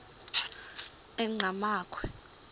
enqgamakhwe